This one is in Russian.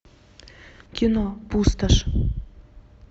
кино пустошь